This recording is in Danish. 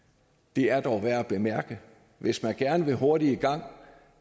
det er dog værd at bemærke hvis man gerne vil hurtigt i gang og